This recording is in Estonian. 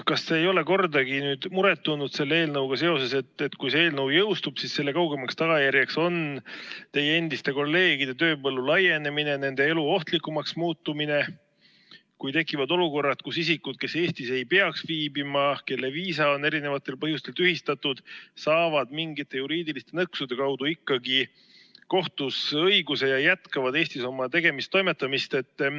Kas te ei ole selle eelnõuga seoses kordagi muret tundnud, et kui see eelnõu jõustub, siis selle kaugemaks tagajärjeks on teie endiste kolleegide tööpõllu laienemine, nende elu ohtlikumaks muutumine, kui tekivad olukorrad, kus isikud, kes Eestis ei peaks viibima, kelle viisa on erinevatel põhjustel tühistatud, saavad mingite juriidiliste nõksude kaudu ikkagi kohtus õiguse ja jätkavad Eestis oma tegemisi-toimetamisi?